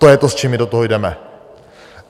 To je to, s čím my do toho jdeme.